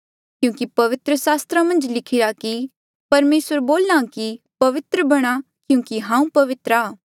क्यूंकि पवित्र सास्त्रा मन्झ लिखिरा की परमेसर बोल्हा कि पवित्र बणां क्यूंकि हांऊँ पवित्र आ